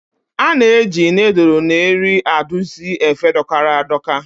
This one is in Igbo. A na-eji nịịdụlụ na eri adusi efe dọkara a dọka.